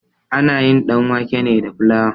Ana yin ɗanwake ne da flawa.